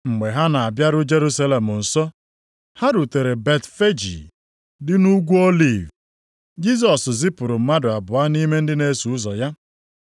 Mgbe ha na-abịaru Jerusalem nso, ha rutere Betfeji dị nʼUgwu Oliv. Jisọs zipụrụ mmadụ abụọ nʼime ndị na-eso ụzọ ya.